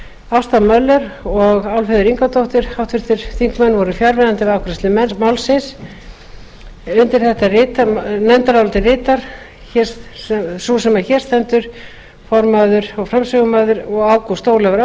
ásta möller og álfheiður ingadóttir háttvirtir þingmenn voru fjarverandi við afgreiðslu málsins undir nefndarálitið rita sú sem hér stendur formaður og fram ágúst ólafur